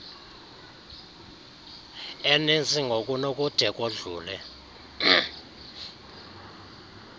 eninzi ngokunokude kodlule